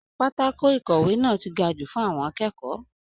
Pátákó ikọwe náà tí gà jù fún àwọn akẹ́kọ̀ọ́.